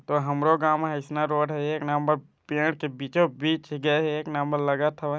तो हमरो गांव में एसना रोड हा एक नंबर पेड़ के बीचो बीच गए है एक नंबर लगत हवय।